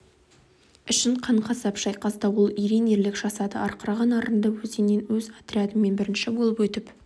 үшін қан-қасап шайқаста ол ерен ерлік жасады арқыраған арынды өзеннен өз отрядымен бірінші болып өтіп